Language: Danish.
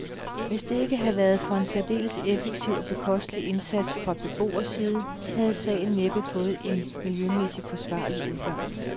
Hvis det ikke havde været for en særdeles effektiv og bekostelig indsats fra beboerside, havde sagen næppe fået en miljømæssig forsvarlig udgang.